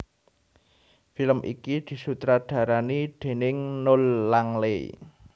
Film iki disutradarani déning Noel Langley